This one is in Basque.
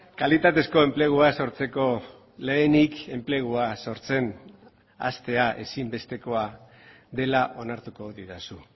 kalitatezko enplegua sortzeko lehenik enplegua sortzen hastea ezinbestekoa dela onartuko didazu